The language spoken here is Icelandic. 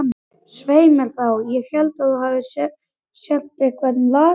Svei mér þá, ég held að þú sért eitthvað lasinn.